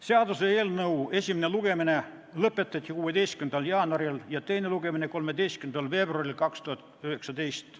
Seaduseelnõu esimene lugemine lõpetati 16. jaanuaril ja teine lugemine 13. veebruaril 2019.